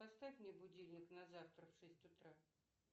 поставь мне будильник на завтра в шесть утра